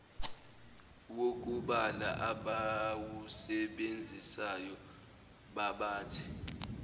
wokubala abawusebenzisayo babathe